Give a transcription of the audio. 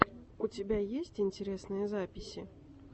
у тебя есть интересные записи